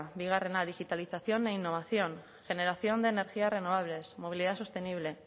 bigarrena digitalización e innovación generación de energías renovables movilidad sostenible